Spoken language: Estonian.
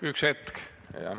Üks hetk!